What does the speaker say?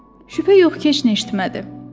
Şübhə yox ki, heç nə eşitmədi.